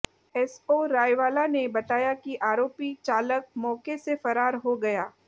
SO Raiwala ने बताया कि आरोपी चालक मौके से फरार हो गया